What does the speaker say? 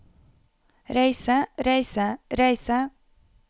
reise reise reise